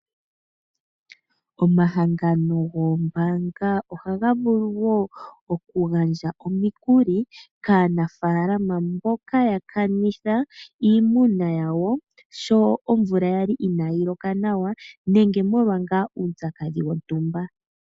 Omahangano goombanga ohaga vulu wo okugandja omikuli kaanafalama mboka ya kanitha iimuna yawo sho omvula yali inaayi loka nawa nenge molwa ngaa uupyakadhi wontumba.